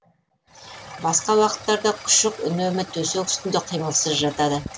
басқа уақыттарда күшік үнемі төсек үстінде қимылсыз жатады